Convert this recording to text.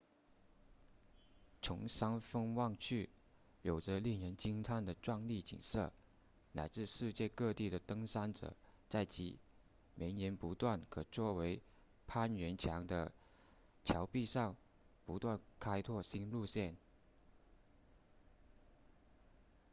从山峰望去有着令人惊叹的壮丽景色来自世界各地的登山者在其绵延不断可作为攀援墙的峭壁上不断开拓新路线